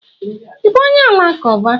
I bú onye alakuba?